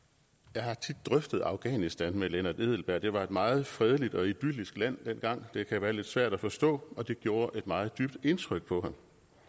jeg har tit drøftet afghanistan med lennart edelberg og det var et meget fredeligt og idyllisk land dengang det kan være lidt svært at forstå og det gjorde et meget dybt indtryk på